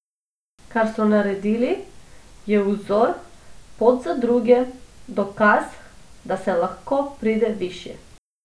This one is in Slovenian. Kar so naredili, je vzor, pot za druge, dokaz, da se lahko pride višje.